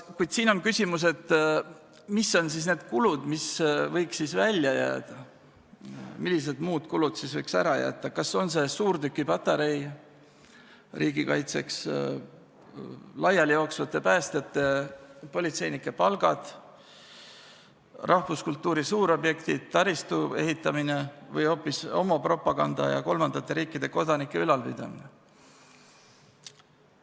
Kuid siin on küsimus, mis on siis need kulud, mis võiks välja jääda, millised muud kulud võiks ära jätta – kas on see suurtükipatarei riigi kaitseks, laialijooksvate päästjate-politseinike palgad, rahvuskultuuri suurobjektid, taristu ehitamine või hoopis homopropaganda ja kolmandate riikide kodanike ülalpidamine.